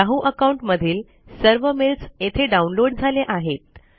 Yahoo account मधील सर्व mails येथे डाउनलोड झाले आहेत